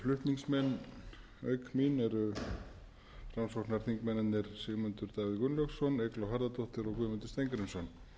flutningsmenn auk mín eru framsóknarþingmennirnir sigmundur davíð gunnlaugsson eygló harðardóttir og guðmundur steingrímsson